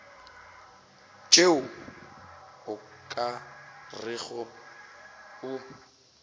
tšeo o ka rego o